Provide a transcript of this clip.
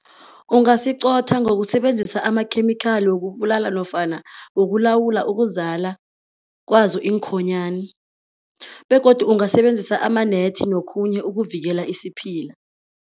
Ungasiqotha ngokusebenzisa amakhemikhali wokubulala nofana wokulawula ukuzala kwazo iinkhonyani begodu ungasebenzisa ama-net nokhunye ukuvikela isiphila.